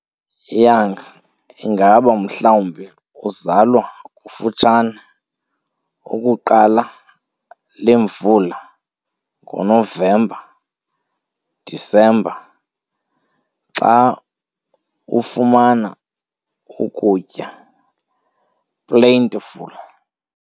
Young ingaba mhlawumbi kuzalwa kufutshane ukuqala lemvula, ngonovemba-disemba, xa ufumana ukutya plentiful.